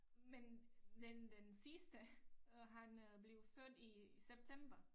Men den den sidste øh han øh blev født i september